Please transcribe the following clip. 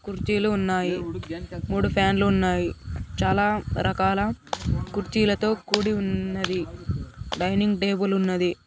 కుర్చీలు ఉన్నాయి మూడు ఫ్యాన్ లు ఉన్నాయి చాలా రకాల కుర్చీలతో కుడి ఉన్నది డైనింగ్ టేబుల్ ఉన్నది.